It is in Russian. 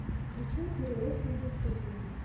включай перерыв на бездумье